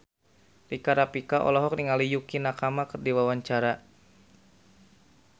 Rika Rafika olohok ningali Yukie Nakama keur diwawancara